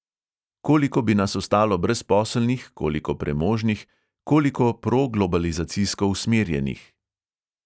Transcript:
Koliko bi nas ostalo brezposelnih, koliko premožnih, koliko proglobalizacijsko usmerjenih?